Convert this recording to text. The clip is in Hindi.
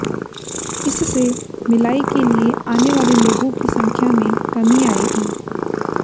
इससे मिलाई के लिए आने वाले लोगों की संख्या में कमी आएगी